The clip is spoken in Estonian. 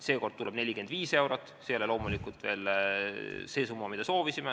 Seekord tuleb 45 eurot, see ei ole loomulikult veel see summa, mida me soovisime.